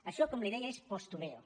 això com li deia és postureo